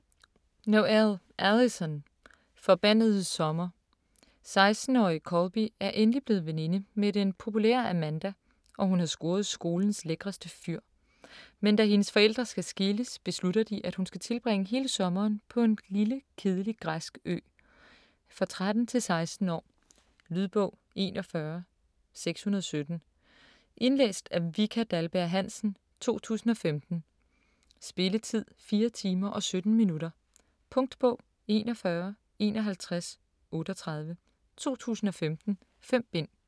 Noël, Alyson: Forbandede sommer 16-årige Colby er endelig blevet veninde med den populære Amanda og hun har scoret skolens lækreste fyr. Men da hendes forældre skal skilles, beslutter de at hun skal tilbringe hele sommeren på en lille, kedelig græsk ø. For 13-16 år. Lydbog 41617 Indlæst af Vika Dahlberg-Hansen, 2015. Spilletid: 4 timer, 17 minutter. Punktbog 415138 2015. 5 bind.